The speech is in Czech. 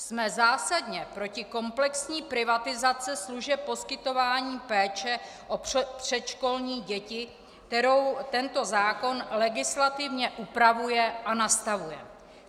Jsme zásadně proti komplexní privatizaci služeb poskytování péče o předškolní děti, kterou tento zákon legislativně upravuje a nastavuje.